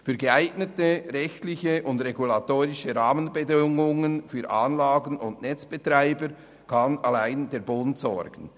Für geeignete rechtliche und regulatorische Rahmenbedingungen für Anlagen- und Netzbetreiber kann allein der Bund sorgen.